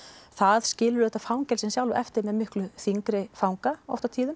það skilur auðvitað fangelsin sjálf eftir með mikið þyngri fanga oft á tíðum